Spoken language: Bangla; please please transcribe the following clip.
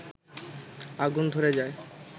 আগুন ধরে যায়